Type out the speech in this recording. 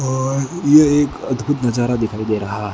और ये एक अद्भुत नजारा दिखाई दे रहा है।